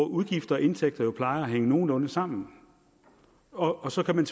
udgifter og indtægter plejer jo at hænge nogenlunde sammen og og så kan man